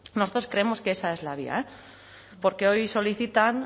nosotros creemos que esa es la vía porque hoy solicitan